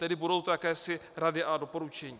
Tedy budou to jakési rady a doporučení.